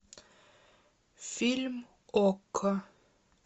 фильм окко